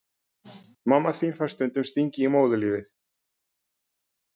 Mamma þín fær stundum stingi í móðurlífið.